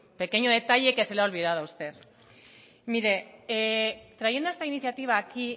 pequeño detalle que se le ha olvidado a usted mire trayendo esta iniciativa aquí